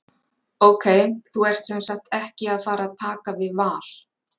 Ok, þú ert semsagt ekki að fara að taka við Val?